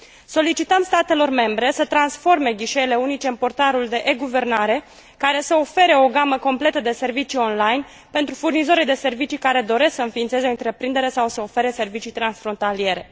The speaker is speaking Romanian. Solicităm statelor membre să transforme ghișeele unice în portalul de e guvernare, care să ofere o gamă completă de servicii online pentru furnizorii de servicii care doresc să înființeze o întreprindere sau să ofere servicii transfrontaliere.